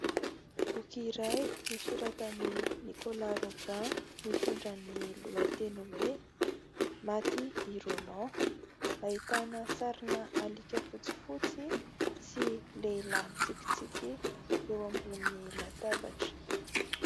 Boky iray nosoratan'i Nicolas Robin mitondra ny lohateny hoe ¨maty i Roland¨. Ahitana sarina alika fotsifotsy sy lehilahy mitsikitsiky eo ambony latabatra.